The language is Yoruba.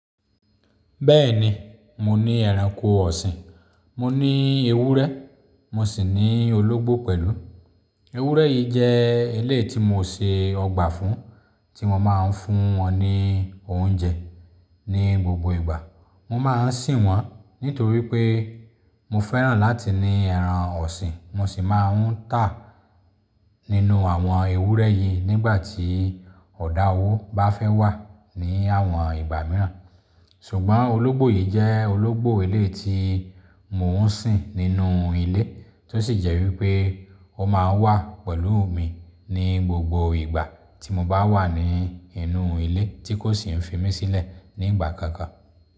Bẹ́ẹ̀ni, mo ní ẹranko ọ̀sìn, mo ní ewúrẹ́, mo sì ní ológbò pẹ̀lú. Ewúrẹ́ yìí jẹ́ iléyi tí mo ṣe ọgbà fún tí mọ́ ma ń fún wọn ní oúnjẹ ní gbogbo ìgbà. Mọ́ máa ń sìn wọ́n nítorí pé mo fẹ́ràn láti ní ẹran ọ̀sìn, mọ́ sì máa ń tà nínú àwọn ewúrẹ́ yìí nígbà tí ọ̀dà owó bá fẹ́ wà ní àwọn ìgbà mìíràn. Ṣùgbọ́n ológbò yìí jẹ́ ológbò ilé tí mò ń sìn nínú ilé tó sì jẹ́ wípé ó máa ń wà pẹ̀lú mi ní gbogbo ìgbà tí mo bá wà ní inú ilé tí kò sì ń fi mí sílẹ̀ ní ìgbà kankan.